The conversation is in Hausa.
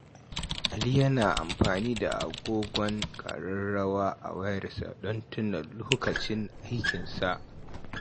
Ali yana amfani da agogon ƙararrawa a wayarsa don tuna lokacin aikinsa.